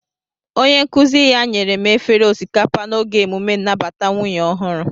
Onye nkuzi ya nyere m efere osikapa n'oge emume nnabata nwunye ọhụrụ